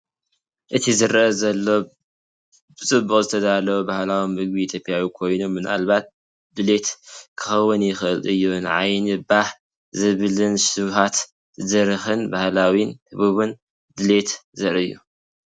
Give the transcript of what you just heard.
እቲ ዝረአ ዘሎ ብጽቡቕ ዝተዳለወ ባህላዊ ምግቢ ኢትዮጵያ ኮይኑ፡ ምናልባት "ዱሌት" ክኸውን ይኽእል እዩ። ንዓይኒ ባህ ዘብልን ሸውሃት ዝድርኽን ባህላውን ህቡብን ዱሌት ዘርኢ እዩ፡፡